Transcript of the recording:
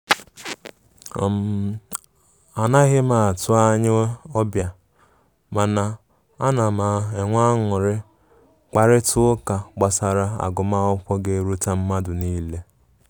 um A na ghim atụ anya ọbia, mana a na m enwe ańuri kparịta ụka gbasara agum akwụkwo ga eruta madụ nile